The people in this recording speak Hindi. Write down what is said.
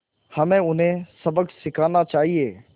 हमें उन्हें सबक सिखाना चाहिए